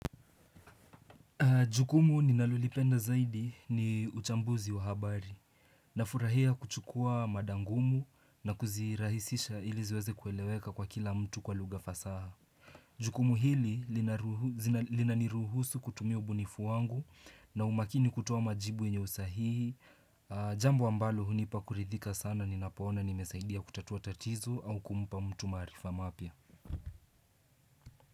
Jukumu ninalolipenda zaidi ni uchambuzi wa habari. Nafurahia kuchukua mada ngumu na kuzirahisisha ili ziweze kueleweka kwa kila mtu kwa lugha fasaha. Jukumu hili linaniruhusu kutumia ubunifu wangu na umakini kutoa majibu yenye usahihi. Jambo ambalo hunipa kuridhika sana ninapoona nimesaidia kutatua tatizo au kumpa mtu maarifa mapya.